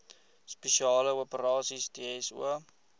spesiale operasies dso